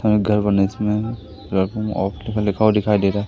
और एक घर बने हैं इसमें लिखा हुआ दिखाई दे रहा।